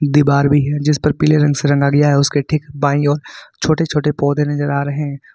दीवार भी है जिसपर पीले रंग से रंगा गया है उसके ठीक बाई ओर छोटे छोटे पौधे नजर आ रहे है।